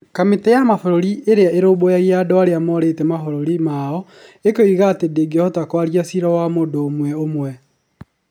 Kamĩtĩ ya Ũrũmwe wa Mabũrũri Ĩrĩa Ĩrũmbũyagia Andũ arĩa morĩte mabũrũri yao ĩkoiga atĩ ndĩhotaga kwaria cira wa mũndũ ũmwe ũmwe